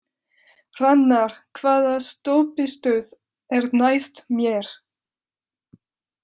Hrannar, hvaða stoppistöð er næst mér?